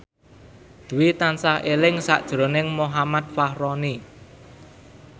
Dwi tansah eling sakjroning Muhammad Fachroni